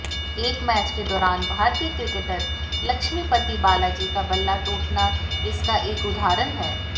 एक मैच के दौरान भारतीय क्रिकेटर लक्ष्मीपति बालाजी का बल्ला टूटना इसका एक उदाहरण है